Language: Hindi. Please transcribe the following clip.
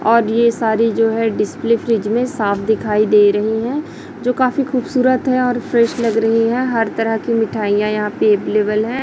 और ये सारी जो है डिस्प्ले फ्रिज में साफ दिखाई दे रही हैं जो काफी खूबसूरत हैं फ्रेश लग रही हैं हर तरह की मिठाइयां यहां पे अवेलेबल हैं।